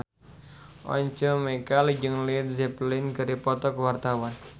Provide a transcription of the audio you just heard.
Once Mekel jeung Led Zeppelin keur dipoto ku wartawan